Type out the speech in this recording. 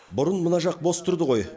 бұрын мына жақ бос тұрды ғой